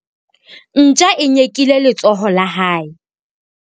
Ntja e nyekile letsoho la hae.